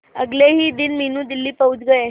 अगले ही दिन मीनू दिल्ली पहुंच गए